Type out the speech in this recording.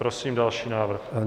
Prosím další návrh.